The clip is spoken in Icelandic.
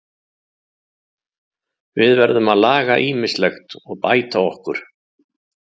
Við verðum að laga ýmislegt og bæta okkur.